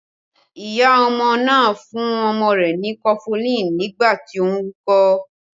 Iya ọmọ náà fún ọmọ rẹ ni kọfulin nígbà tí ó ń wúkọ́